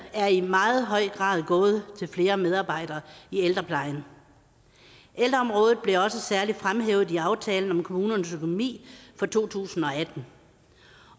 er i meget høj grad gået til flere medarbejdere i ældreplejen ældreområdet blev også særligt fremhævet i aftalen om kommunernes økonomi for to tusind og atten